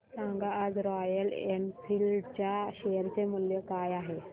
सांगा आज Royal Enfield च्या शेअर चे मूल्य काय आहे